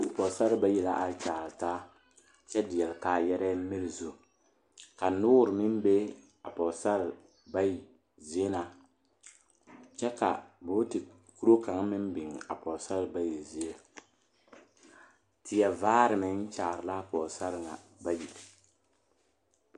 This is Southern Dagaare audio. Pɔgesare bayi la are kyaare taa kyɛ deɛle kaayɛrɛɛ miri zu ka noore meŋ be a pɔgesare bayi zie na kyɛ bootikuro kaŋ meŋ biŋ a pɔgesare bayi zie teɛ vaare meŋ kyaare la a pɔgesare ŋa bayi.